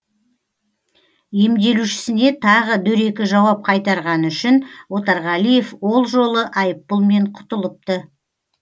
емделушісіне тағы дөрекі жауап қайтарғаны үшін отарғалиев ол жолы айыппұлмен құтылыпты